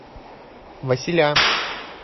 василя